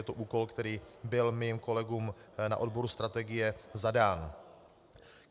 Je to úkol, který byl mým kolegům na odboru strategie zadán.